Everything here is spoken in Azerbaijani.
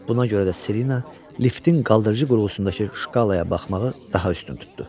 Buna görə də Selina liftin qaldırıcı qurğusundakı şkalaya baxmağı daha üstün tutdu.